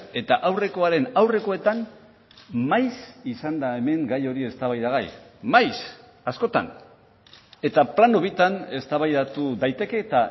eta aurrekoaren aurrekoetan maiz izan da hemen gai hori eztabaidagai maiz askotan eta plano bitan eztabaidatu daiteke eta